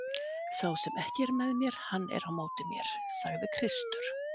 Sá sem ekki er með mér hann er á móti mér, sagði Kristur.